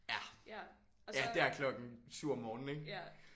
Ja. Ja der klokken 7 om morgenen ik?